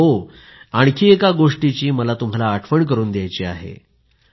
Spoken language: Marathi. आणि हो आणखी एका गोष्टीची मला तुम्हाला आठवण करून द्यायची आहे